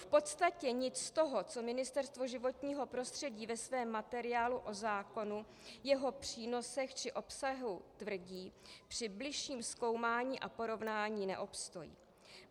V podstatě nic z toho, co Ministerstvo životního prostředí ve svém materiálu o zákonu, jeho přínosech či obsahu tvrdí, při bližším zkoumání a porovnání neobstojí.